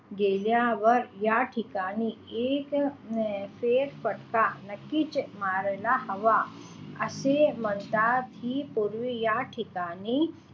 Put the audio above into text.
गेल्यावर या ठिकाणी एक अं फेरफटका नक्कीच मारायला हवा असे म्हणतात कि या पूर्वी या ठिकाणी,